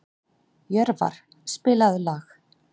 Jörvar, spilaðu lag.